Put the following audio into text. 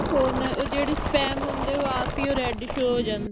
ਹੁਣ ਜਿਹੜੇ spam ਹੁੰਦੇ ਨੇ ਉਹ ਆਪ ਹੀ ਉਹ red show ਹੋ ਜਾਂਦਾ